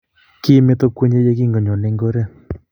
Kimeto kwenye ye kingonyone eng oret,